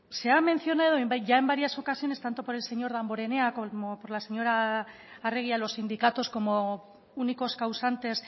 han mencionado ya en varias ocasiones tanto por el señor damborenea como por la señora arregi a los sindicatos como únicos causantes